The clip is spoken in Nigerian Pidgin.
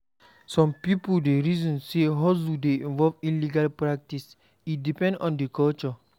Some pipo dey reason sey hustle dey involve illegal practice, e depend on di culture.